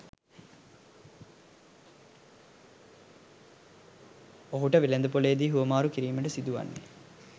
ඔහුට වෙළෙඳ පොළේ දී හුවාමරු කිරීමට සිදු වන්නේ